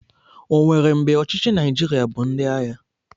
O nwere mgbe ọchịchị Naijiria bụ ndị agha?